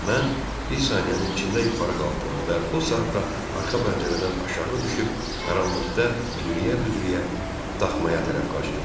Mən bir saniyənin içində yuxarı qalxdım və o saatda arxa pəncərədən aşağı düşüb, qaranlıqda büdrəyə-büdrəyə daxmaya tərəf qaçdım.